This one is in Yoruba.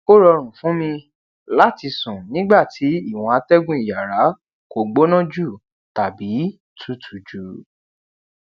o rọrùn fún mi láti sún nígbà tí ìwòn atégùn iyàrá ko gbóná jù tàbí tutù jù